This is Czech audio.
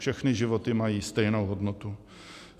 Všechny životy mají stejnou hodnotu.